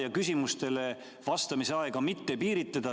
Ja küsimustele vastamise aega ei tohiks piiritleda.